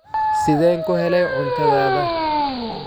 Sideen ku helay cuntadaada?